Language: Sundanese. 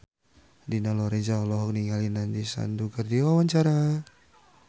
Dina Lorenza olohok ningali Nandish Sandhu keur diwawancara